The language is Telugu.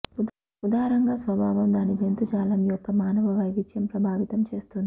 ఉదారంగా స్వభావం దాని జంతుజాలం యొక్క మానవ వైవిధ్యం ప్రభావితం చేస్తుంది